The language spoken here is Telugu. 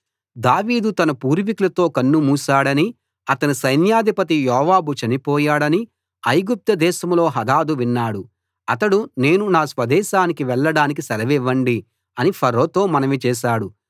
దావీదు తన పుర్వికులతో కన్నుమూశాడని అతని సైన్యాధిపతి యోవాబు చనిపోయాడని ఐగుప్తు దేశంలో హదదు విన్నాడు అతడు నేను నా స్వదేశానికి వెళ్లడానికి సెలవివ్వండి అని ఫరోతో మనవి చేశాడు